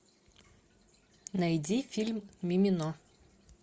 найди фильм мимино